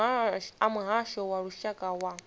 a muhasho wa lushaka wa